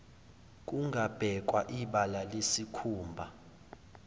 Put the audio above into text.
kungabhekwa ibala lesikhumba